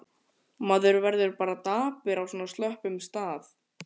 Maður verður bara dapur á svona slöppum stað.